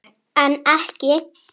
En ekki.